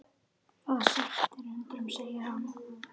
Það sætir undrum segir hann.